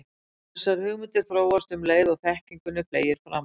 Þessar hugmyndir þróast um leið og þekkingunni fleygir fram.